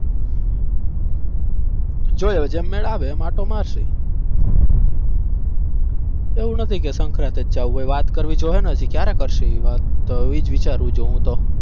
જોવે જેમ મેલ આવે એમ આંટો મારશું એવુ નથી કે સંક્રાતિ જ જાવું જો વાત કરવી જોહે ને હજી ક્યારે કરશું વાત તો ઈ જ વિચાર છું હું તો.